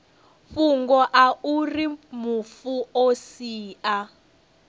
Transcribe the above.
fhungo auri mufu o sia